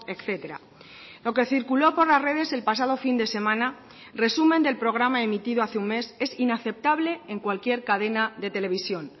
etcétera lo que circuló por las redes el pasado fin de semana resumen del programa emitido hace un mes es inaceptable en cualquier cadena de televisión